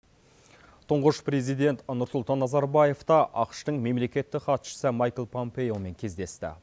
тұңғыш президент нұрсұлтан назарбаев та ақш тың мемлекеттік хатшысы майкл пампеомен кездесті